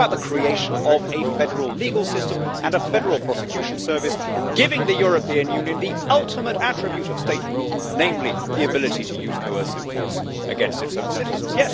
this is about the creation of a federal legal system and a federal prosecution service, giving the European Union the ultimate attribute of statehood, namely the ability to use coercive force against its own citizens.